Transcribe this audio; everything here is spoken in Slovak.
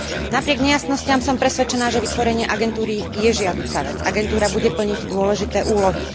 Napriek nejasnostiam som presvedčená, že vytvorenie agentúry je žiaduca vec. Agentúra bude plniť dôležité úlohy.